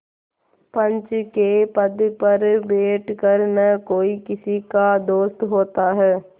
पंच के पद पर बैठ कर न कोई किसी का दोस्त होता है